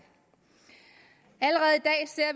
allerede